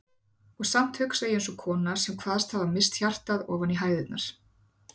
Og samt hugsa ég eins og kona sem kvaðst hafa misst hjartað ofan í hægðirnar.